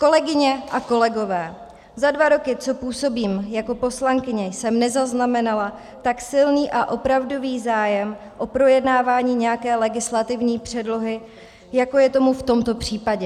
Kolegyně a kolegové, za dva roky, co působím jako poslankyně, jsem nezaznamenala tak silný a opravdový zájem o projednávání nějaké legislativní předlohy, jako je tomu v tomto případě.